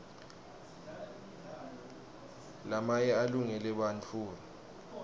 lamaye alungele bantfuara